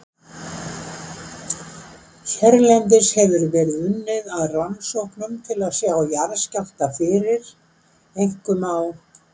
Hérlendis hefur verið unnið að rannsóknum til að sjá jarðskjálfta fyrir, einkum á